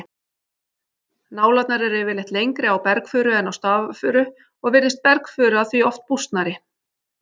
Nálarnar eru yfirleitt lengri á bergfuru en á stafafuru og virðist bergfura því oft bústnari.